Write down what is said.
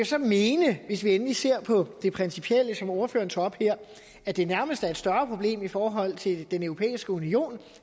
så mene hvis vi endelig ser på det principielle som ordføreren tager op her at det nærmest er et større problem i forhold til den europæiske union